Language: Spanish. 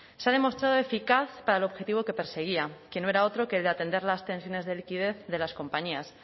se ha demostrado eficaz para el objetivo que perseguía que no era otro que el de atender las tensiones de liquidez de las compañías